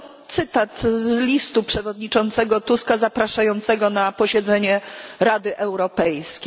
To cytat z listu przewodniczącego Tuska zapraszającego na posiedzenie Rady Europejskiej.